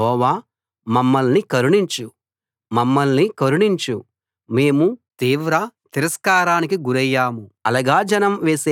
యెహోవా మమ్మల్ని కరుణించు మమ్మల్ని కరుణించు మేము తీవ్ర తిరస్కారానికి గురయ్యాము